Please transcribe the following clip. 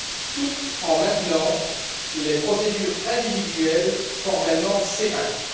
tout en maintenant les procédures individuelles formellement séparées.